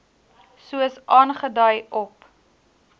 soos aangedui op